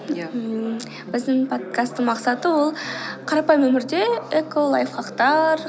иә ммм біздің подкасттың мақсаты ол қарапайым өмірде эко лайфхактар